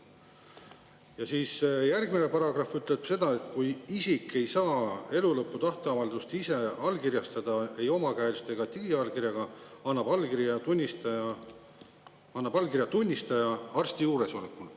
Ja siis järgmine paragrahv ütleb seda, et kui isik ei saa elulõpu tahteavaldust ise allkirjastada ei omakäeliselt ega digiallkirjaga, annab allkirja tunnistaja arsti juuresolekul.